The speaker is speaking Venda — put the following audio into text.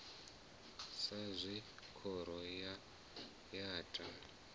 sa zwe khoro ya ta